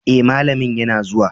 Eh malamin yana zuwa.